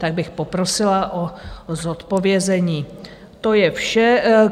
Tak bych poprosila o zodpovězení, to je vše.